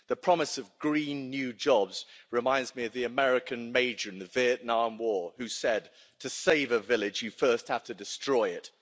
The promise of green new jobs reminds me of the American Major in the Vietnam War who said to save a village, you first have to destroy it'.